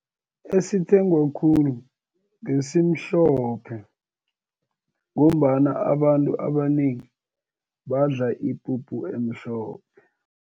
Esithengwe khulu ngesimhlophe, ngombana abantu abanengi badla ipuphu emhlophe.